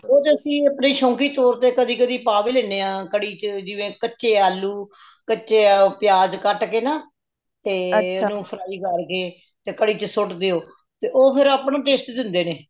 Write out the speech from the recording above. ਉਹ ਤੇ ਅੱਸੀ ਅਪਣੀ ਸ਼ੌਂਕੀ ਤੌਰ ਤੇ ਕਦੀ ਕਦੀ ਪਾ ਵੀ ਲੇਣੇ ਹਾਂ ਕੜੀ ਵਿੱਚ ਜੀਵੇ ਕੱਚੇ ਆਲੂ ਕੱਚੇ ਪਿਆਜ ਕੱਟ ਕੇ ਨਾ ਤੇ ਓਹਨੂੰ fry ਕਰ ਕੇ, ਤੇ ਕੜੀ ਵਿੱਚ ਸੁੱਟ ਦੇਵੋ ਉਹ ਤੇ ਫੇਰ ਅਪਣਾ taste ਦੇਂਦੇ ਨੇ